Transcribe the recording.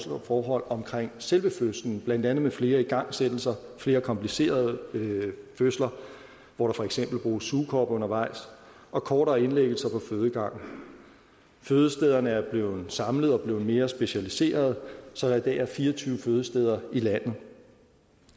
forhold omkring selve fødslen blandt andet med flere igangsættelser flere komplicerede fødsler hvor der for eksempel bruges sugekop undervejs og kortere indlæggelser på fødegangen fødestederne er blevet samlet og er blevet mere specialiserede så der i dag er fire og tyve fødesteder i landet